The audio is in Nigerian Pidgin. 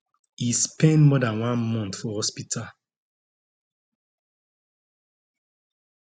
e spend more dan one month for hospital